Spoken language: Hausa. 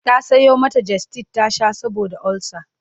ta Sayo mata gestid ta Sha saboda ulcer